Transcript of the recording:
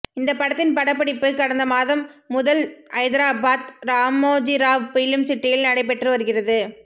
இந்த படத்தின் படப்பிடிப்பு கடந்த மாதம் முதல் ஐதராபாத் ராமோஜிராவ் பிலிம் சிட்டியில் நடைபெற்று வருகிறது